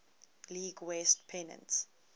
league west pennant